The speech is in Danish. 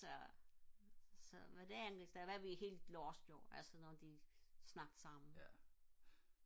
så så hvad det angår så er vi helt lost jo når de snakker sammen